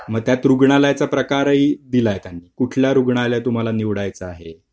मग त्यात रुग्णालयाचा प्रकारही दिलाय का उठला रुग्णालय तुम्हाला निवडायचा आहे